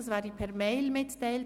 Dies werde per Mail mitgeteilt.